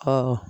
Ɔ